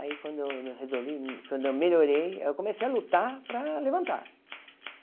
Aí quando eu resolvi, quando eu melhorei, aí eu comecei a lutar para levantar.